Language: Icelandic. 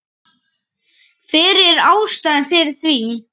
Hver var ástæðan fyrir því?